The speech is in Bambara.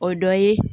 O dɔ ye